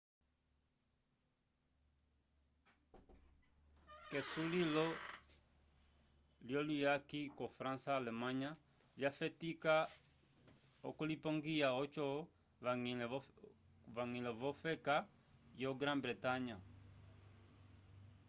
k'esulilo lyuyaki ko-fransa alemanya lyafetika okulipongiya oco vañgĩle v'ofeka yo brã-bretanya